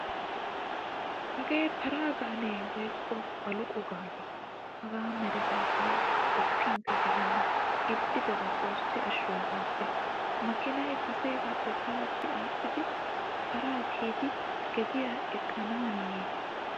Hagaa para gaane woykko baqulo gaane hagaa meretay tawu qoppinkka gelennan ixxidaba xoossi ashsho hagaappe. Makiinay kaseegaappe palatti aaxxidi para kiyidi gediyan eqqanaaniiyye.